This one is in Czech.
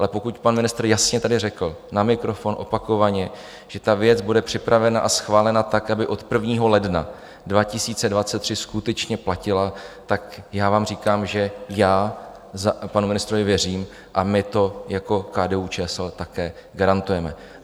Ale pokud pan ministr jasně tady řekl na mikrofon opakovaně, že ta věc bude připravena a schválena tak, aby od 1. ledna 2023 skutečně platila, tak já vám říkám, že já panu ministrovi věřím, a my to jako KDU-ČSL také garantujeme.